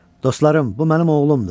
Dostlarım, bu mənim oğlumdur.